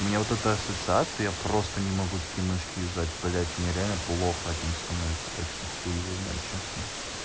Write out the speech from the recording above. у меня вот эта ассоциация я просто не могу такие мышки юзать блять мне реально плохо от них становится так что хуй его знает честно